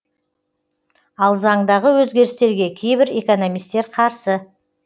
ал заңдағы өзгерістерге кейбір экономистер қарсы